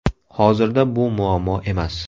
Hozirda bu muammo emas.